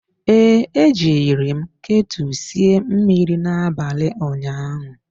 Ee, ejiri m ketu sie mmiri n'abalị ụnyaahụ.